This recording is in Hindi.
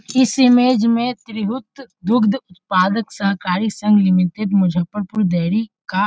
इस इमेज में त्रिभुत दुग्ध पदक सरकारी संग लिमिटेड मज़फ्फरपुर डेरी का --